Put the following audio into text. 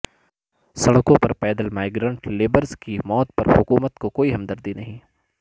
سڑکوں پر پیدل مائیگرنٹ لیبرس کی موت پر حکومت کو کوئی ہمدردی نہیں